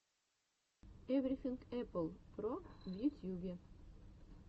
эврифинг эппл про в ютьюбе